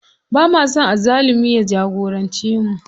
Bama son azzalumi ya shagorance mu.